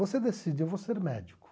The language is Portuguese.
Você decide, eu vou ser médico.